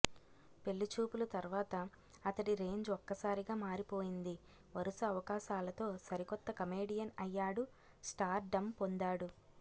పెళ్లి చూపులు తర్వాత అతడి రేంజ్ ఒక్కసారిగా మారిపోయింది వరుస అవకాశాలతో సరికొత్త కమెడియన్ అయ్యాడు స్టార్ డం పొందాడు